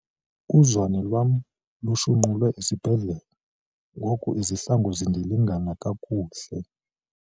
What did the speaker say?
Uzwane lwam lushunqulwe esibhedlele ngoku izihlangu zindilingana kakuhle.